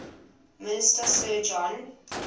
minister sir john